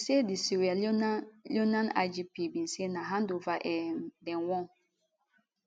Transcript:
she say di sierra leonean leonean igp bin say na handover um dem wan